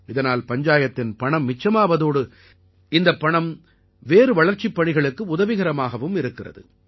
இதனால் பஞ்சாயத்தின் பணம் மிச்சமாவதோடு இந்தப் பணம் வேறு வளர்ச்சிப்பணிகளுக்கு உதவிகரமாகவும் இருக்கிறது